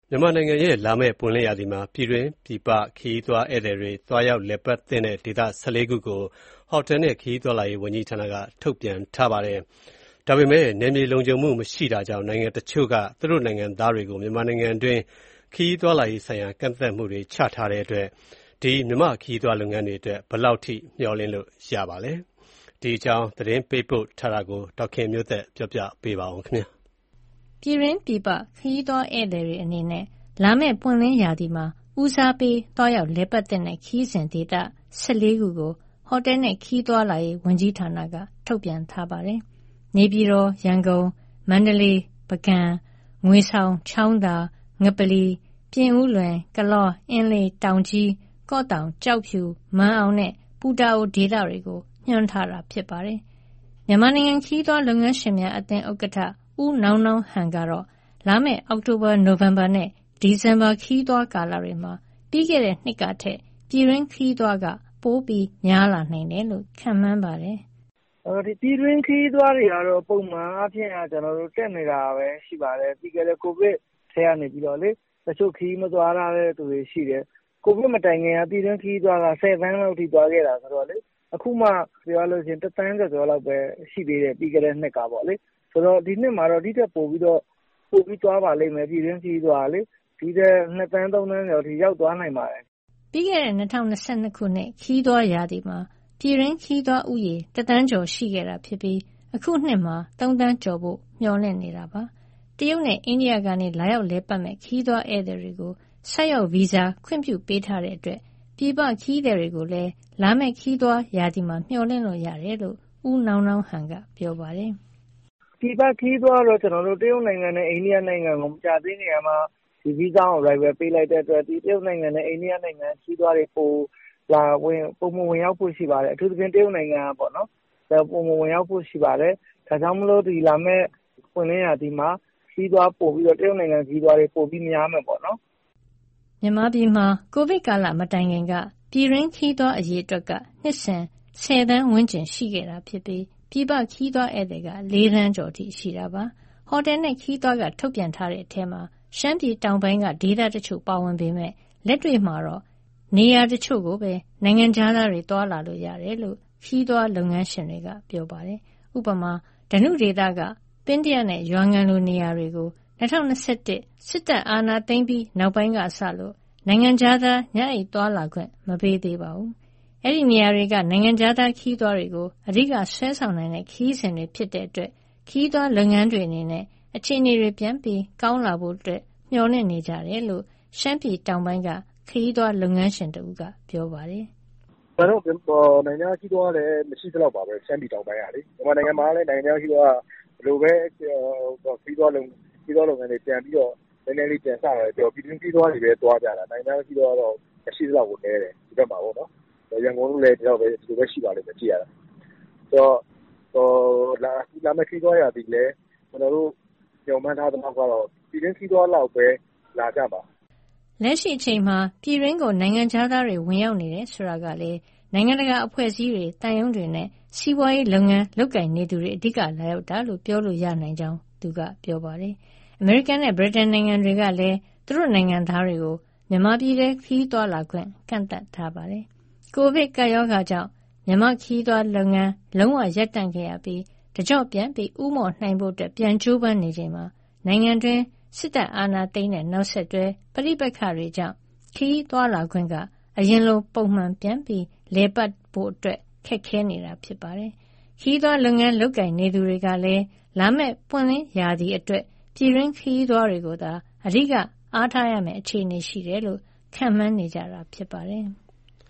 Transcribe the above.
မြန်မာနိုင်ငံရဲ့ လာမယ့်ပွင့်လင်းရာသီမှာ ပြည်တွင်း၊ ပြည်ပခရီးသွား ဧည့်သည်တွေအတွက် သွားရောက်လည်ပတ်သင့်တဲ့ ဒေသ ၁၄ ခုကို ဟိုတယ်နဲ့ ခရီးသွားလာရေး ဝန်ကြီးဌာနက ထုတ်ပြန်ထားပါတယ်။ နယ်မြေလုံခြုံမှု မရှိတာကြောင့် နိုင်ငံတချို့က သူတို့နိုင်ငံသားတွေကို မြန်မာပြည်တွင်း ခရီးသွားလာရေးဆိုင်ရာ ကန့်သတ်မှုတွေ ချထားတဲ့အတွက် မြန်မာနိုင်ငံခရီးသွားလုပ်ငန်းတွေအတွက် ဘယ်လောက်ထိ မျှော်လင့်လို့ရပါသလဲ။ ဒီအကြောင်း သတင်းပေးပို့ထားတာကို ဒေါ်ခင်မျိုးသက်က ပြောပြမှာပါ။ ပြည်တွင်း၊ ပြည်ပခရီးသွား ဧည့်သည်တွေအနေနဲ့ လာမယ့်ပွင့်လင်းရာသီမှာ ဦးစားပေးသွားရောက် လည်ပတ်သင့်တဲ့ ခရီးစဉ်ဒေသ ၁၄ ခုကို ဟိုတယ်နဲ့ ခရီးသွားလာရေး ဝန်ကြီးဌာနက ထုတ်ပြန်ထားပါတယ်။ နေပြည်တော်၊ ရန်ကုန်၊ မန္တလေး၊ ပုဂံနဲ့ ငွေဆောင်၊ ချောင်းသာ၊ ငပလီ အပါအဝင် ပြင်ဦးလွင်၊ ကလော၊ အင်းလေး၊ တောင်ကြီး၊ ကော့သောင်း၊ ကျောက်ဖြူ၊ မာန်အောင်နဲ့ ပူတာအို ဒေသတွေကို ညွှန်းထားတာ ဖြစ်ပါတယ်။ မြန်မာနိုင်ငံ ခရီးသွားလုပ်ငန်းရှင်များ အသင်းဥက္ကဋ္ဌ ဦးနောင်းနောင်းဟန်ကတော့ လာမယ့် အောက်တိုဘာ၊ နိုဝင်ဘာနဲ့ ဒီဇင်ဘာ ခရီးသွားကာလတွေမှာ ပြီးခဲ့တဲ့နှစ်ကထက် ပြည်တွင်းခရီးသွား ပိုများလာနိုင်တယ်လို့ ခန့်မှန်းပါတယ်။ "ပြည်တွင်းခရီးသွားတွေကတော့ ပုံမှန်အားဖြင့် တက်နေတာပဲရှိပါတယ်။ ပြီးခဲ့တဲ့ ကိုဗစ်ကတည်းက ခရီးမသွားထားတဲ့ သူတွေရှိတယ်။ ကိုဗစ်မတိုင်ခင်တုန်းက ပြည်တွင်းခရီးသွားက ၁၀ သန်းလောက် သွားခဲ့တာဆိုတော့လေ။ အခုမှ တသန်းကျော်ကျော်လောက်ပဲ ရှိသေးတယ် ပြီးခဲ့တဲ့နှစ်က။ ဆိုတော့ ဒီနှစ်မှာတော့ ဒီထက်ပိုပြီး သွားပါလိမ့်မယ် ပြည်တွင်းခရီးသွားကလေ၊ ၂ သန်း၊ ၃ သန်းကျော်အထိ ရောက်သွားနိုင်ပါတယ်။" ပြီးခဲ့တဲ့ ၂၀၂၂ ခုနှစ် ခရီးသွားရာသီမှာ ပြည်တွင်းခရီးသွားဦးရေ တသန်းကျော် ရှိခဲ့တာဖြစ်ပြီး အခုနှစ်မှာ ၃ သန်းကျော်ဖို့ မျှော်လင့်နေတာပါ။ တရုတ်နဲ့ အိန္ဒိယကနေ လာရောက်လည်ပတ်မယ့် ခရီးသွားဧည့်သည်တွေကို ဆိုက်ရောက်ဗီဇာ ခွင့်ပြုပေးထားတာကြောင့် ပြည်ပခရီးသည်တွေကိုလည်း လာမယ့်ခရီးသွားရာသီမှာ မျှော်လင့်လို့ရတယ်လို့ ဦးနောင်းနောင်းဟန်က ပြောပါတယ်။ "ပြည်ပခရီးသွားကတော့ တရုတ်နိုင်ငံနဲ့ အိန္ဒိယနိုင်ငံကို မကြာသေးခင်ကမှ Visa On Arrival ပေးလိုက်တဲ့အတွက် တရုတ်နိုင်ငံနဲ့ အိန္ဒိယနိုင်ငံရဲ့ ခရီးသွားတွေ ပုံမှန်ဝင်ရောက်ဖို့ ရှိပါတယ်။ အထူးသဖြင့် တရုတ်နိုင်ငံက ပိုမိုဝင်ရောက်ဖို့ ရှိပါတယ်။ ဒါကြောင့်မို့ လာမယ့်ပွင့်လင်းရာသီမှာ တရုတ်နိုင်ငံရဲ့ ခရီးသွားတွေ ပိုပြီးများမယ်ပေါ့နော်။" မြန်မာပြည်မှာ ကိုဗစ်ကာလ မတိုင်ခင်က ပြည်တွင်းခရီးသွား အရေအတွက်က နှစ်စဉ် ၁၀ သန်းဝန်းကျင် ရှိခဲ့ပြီး၊ ပြည်ပခရီးသွား ဧည့်သည်က ၄ သန်းကျော်အထိ ရှိခဲ့ပါတယ်။ ဟိုတယ်နဲ့ ခရီးသွားက ထုတ်ပြန်ထားတဲ့အထဲမှာ ရှမ်းပြည်တောင်ပိုင်းက ဒေသတချို့ ပါဝင်ပေမယ့် လက်တွေ့မှာတော့ နေရာတချို့ကိုပဲ နိုင်ငံခြားသားတွေ သွားလာလို့ရတယ်လို့ ခရီးသွားလုပ်ငန်းရှင်တွေက ပြောပါတယ်။ ဥပမာ ဓနုဒေသက ပင်းတယနဲ့ ရွာငံလို နေရာတွေကို ၂၀၂၁ အာဏာသိမ်းပြီး နောက်ပိုင်းကစလို့ နိုင်ငံခြားသား ညအိပ်သွားလာခွင့် မပေးသေးပါဘူး။ ဒီနေရာတွေက နိုင်ငံခြားသားခရီးသွားကို အဓိက ဆွဲဆောင်နိုင်တဲ့ ခရီးစဉ်တွေဖြစ်လို့ ခရီးသွားလုပ်ငန်းတွေအနေနဲ့ အခြေအနေတွေ ပြန်ကောင်းလာဖို့တော့ မျှော်လင့်နေကြတယ်လို့ ရှမ်းပြည်တောင်ပိုင်းက ခရီးသွားလုပ်ငန်းရှင်တဦးက ပြောပါတယ်။ "တကယ်တော့ နိုင်ငံခြားခရီးသွားကလည်း မရှိသလောက်ပါပဲ၊ ရှမ်းပြည်တောင်ပိုင်းကလေ။ မြန်မာနိုင်ငံမှာလည်း နိုင်ငံခြားခရီးသွားက ဘယ်လိုပဲ ခရီးသွားလုပ်ငန်းတွေ ပြန်ပြီးတော့ ပြန်စတယ်ပြောပြော ပြည်တွင်းခရီးသွားတွေပဲ သွားကြတာ။ နိုင်ငံခြား ခရီးသွားကတော့ မရှိသလောက်ကို နည်းတယ် ဒီဘက်မှာပေါ့။ ရန်ကုန်လည်း ဒီလိုပဲရှိပါလိမ့်မယ်။ ဆိုတော့ လာမဲ့ခရီးသွားရာသီလည်း ကျနော်တို့ မျှော်မှန်းထားသလောက် ကတော့ ပြည်တွင်း ခရီးသွားလောက်ပဲ လာကြမှာ။" လက်ရှိအချိန်မှာ ပြည်တွင်းကို နိုင်ငံခြားသား ဝင်ရောက်နေတယ် ဆိုတာကလည်း နိုင်ငံတကာအဖွဲ့အစည်းတွေ၊ သံရုံးတွေနဲ့ စီးပွားရေးလုပ်ငန်း လုပ်ကိုင်နေသူတွေ အဓိက လာရောက်တာလို့ ပြောလို့ရနိုင်ကြောင်း သူကပြောပါတယ်။ အမေရိကန်နဲ့ ဗြိတိန်နိုင်ငံတွေကလည်း သူတို့နိုင်ငံသားတွေကို မြန်မာပြည်ထဲ ခရီးသွားခွင့် ကန့်သတ်ထားပါတယ်။ ကိုဗစ်ကပ်ရောဂါကြောင့် မြန်မာ့ခရီးသွားလုပ်ငန်း လုံးဝရပ်တန့်ခဲ့ရပြီး၊ တကျော့ပြန်ဦးမော့နိုင်ဖို့ ပြန်လည်ကြိုးပမ်းချိန်မှာ နိုင်ငံတွင်း အာဏာသိမ်းနောက်ဆက်တွဲ ပဋိပက္ခတွေကြောင့် ခရီးသွားလာခွင့်က အရင်လို ပုံမှန်ပြန်လည်ပတ်နိုင်ဖို့ ခက်ခဲနေတာပါ။ ခရီးသွားလုပ်ငန်း လုပ်ကိုင်သူတွေကလည်း လာမယ့်ပွင့်လင်းရာသီအတွက် ပြည်တွင်းခရီးသွားတွေကိုသာ အဓိကအားထားရမယ့် အခြေအနေရှိတယ်လို့ ခန့်မှန်းနေကြတာ ဖြစ်ပါတယ်။